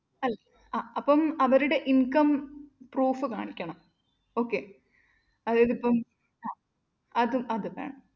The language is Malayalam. ആ അപ്പം അവരുടെ income proof കാണിക്കണം okay അതായതിപ്പം അഹ് അത് അത് വേണം.